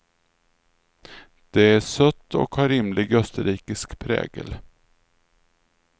Det är sött och har rimlig österrikisk prägel.